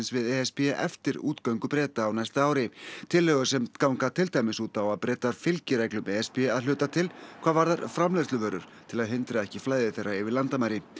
við e s b eftir útgöngu Breta á næsta ári tillögur sem ganga til dæmis út á að Bretar fylgi reglum e s b að hluta til hvað varðar framleiðsluvörur til að hindra ekki flæði þeirra yfir landamæri